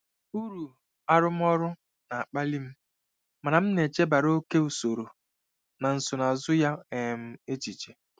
Ụrụ arụmọrụ na-akpali m, mana m na-echebara oke usoro na nsonaazụ ya um echiche.